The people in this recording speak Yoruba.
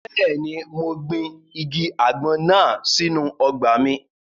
Bẹ́ẹ̀ni, mo gbin igi àgbọn náà sínu ọgbà mi